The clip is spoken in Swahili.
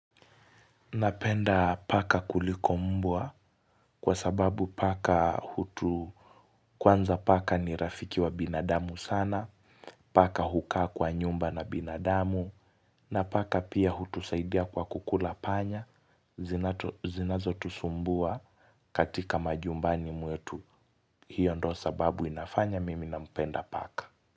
Napenda paka kuliko mbwa kwa sababu paka hutu kwanza paka ni rafiki wa binadamu sana paka hukaa kwa nyumba na binadamu na paka pia hutusaidia kwa kukula panya zinazo tusumbua katika majumbani mwetu hiyo ndio sababu inafanya mimi nampenda paka.